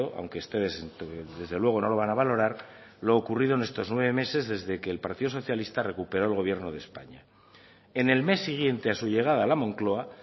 aunque ustedes desde luego no lo van a valorar lo ocurrido en estos nueve meses desde que el partido socialista recuperó el gobierno de españa en el mes siguiente a su llegada a la moncloa